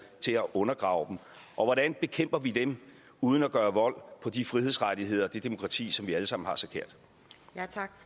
til at undergrave dem og hvordan bekæmper vi dem uden at gøre vold på de frihedsrettigheder og det demokrati som vi alle sammen